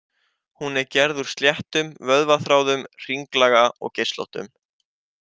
Hún er gerð úr sléttum vöðvaþráðum, hringlaga og geislóttum.